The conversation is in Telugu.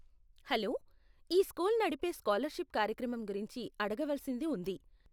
హలో, ఈ స్కూల్ నడిపే స్కాలర్షిప్ కార్యక్రమం గురించి అడగవలసింది ఉంది.